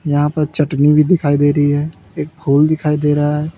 यहां पर चटनी भी दिखाई दे रही है एक फूल दिखाई दे रहा है।